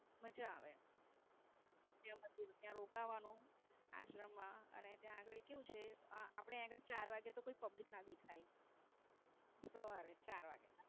મજા આવે અને પછી ત્યાં રોકાવાનું આશ્રમ માં ને ત્યાં ગાળી કેવું છે આપણે આયા આગળ ચાર વાગ્યા પછી કોઈ Public ના દેખાય શુક્રવારે ચાર વાગે.